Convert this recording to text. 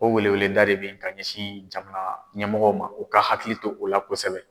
O wele weleda de bɛ ye ka ɲɛsin jamana ɲɛmɔgɔw ma u ka hakili to o la kosɛbɛ.